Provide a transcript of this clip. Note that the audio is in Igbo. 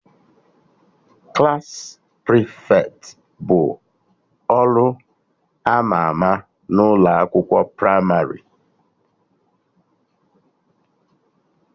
Klassị prịfeti bu ọrụ ama ama n'ụlọ akwụkwọ pramarị